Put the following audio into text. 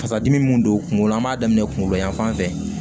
Fasadimi don kungolo la an b'a daminɛ kungolo yanfan fɛ